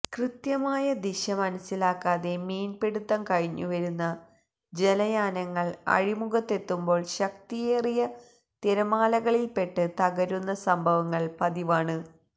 കൃത്യമായ ദിശ മനസ്സിലാക്കാതെ മീൻപിടിത്തം കഴിഞ്ഞുവരുന്ന ജലയാനങ്ങൾ അഴിമുഖത്തെത്തുമ്പോൾ ശക്തിയേറിയ തിരമാലകളിൽപ്പെട്ട് തകരുന്ന സംഭവങ്ങൾ പതിവാണ്